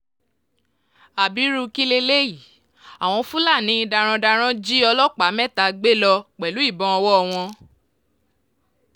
ábírú kí leléyìí àwọn fúlàní darandaran jí ọlọ́pàá mẹ́ta gbé lọ pẹ̀lú ìbọn ọwọ́ wọn